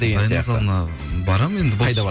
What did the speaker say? дайындық залына барамын енді